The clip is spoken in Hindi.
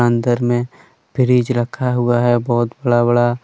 अंदर में फ्रिज रखा हुआ है बहुत बड़ा बड़ा।